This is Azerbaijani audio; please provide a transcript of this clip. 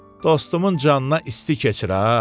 Dostumun canına isti keçir ha.